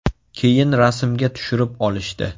Keyin rasmga tushirib olishdi.